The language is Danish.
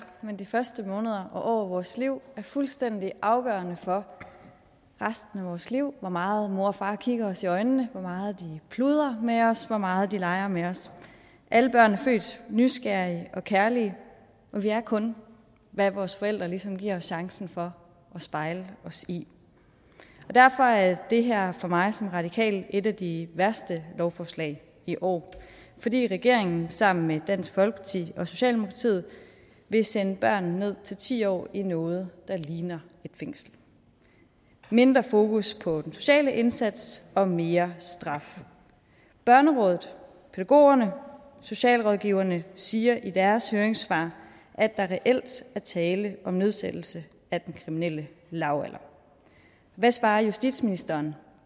men de første måneder og år af vores liv er fuldstændig afgørende for resten af vores liv hvor meget mor og far kigger os i øjnene hvor meget de pludrer med os hvor meget de leger med os alle børn er født nysgerrige og kærlige og vi er kun hvad vores forældre ligesom giver os chancen for at spejle os i derfor er det her for mig som radikal et af de værste lovforslag i år fordi regeringen sammen med dansk folkeparti og socialdemokratiet vil sende børn ned til ti år i noget der ligner et fængsel mindre fokus på den sociale indsats og mere straf børnerådet pædagogerne og socialrådgiverne siger i deres høringssvar at der reelt er tale om nedsættelse af den kriminelle lavalder hvad svarer justitsministeren